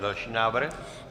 Další návrh.